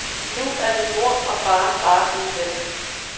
Nu er min mor og far bare gode venner.